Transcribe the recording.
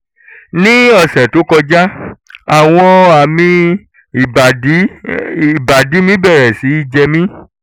ní ọ̀sẹ̀ tó kọjá àwọn àmì ìbàdí ìbàdí mi bẹ̀rẹ̀ sí í jẹ mí